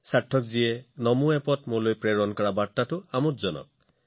সাৰ্থকজীয়ে মোক নমো এপত লিখা বাৰ্তাটো অতি আকৰ্ষণীয় আছিল